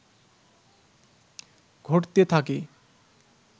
ঘটতে থাকে